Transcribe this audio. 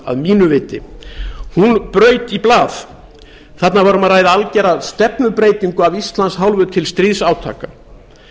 að mínu viti braut í blað þarna var um að ræða algera stefnubreytingu af íslands hálfu til stríðsátaka